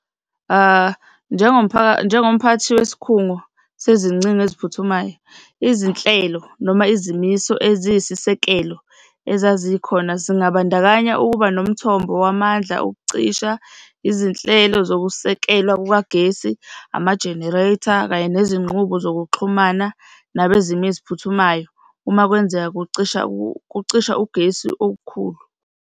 Njengomphakathi wesikhungo sezingcingo eziphuthumayo, izinhlelo noma izimiso eziyisisekelo ezazikhona zingabandakanya ukuba nomthombo wamandla okucisha, izinhlelo zokusekelwa kukagesi, ama-generator kanye nezinqubo zokuxhumana nabezimo eziphuthumayo uma kwenzeka kucisha kucisha ugesi okukhulu.